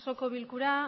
osoko bilkura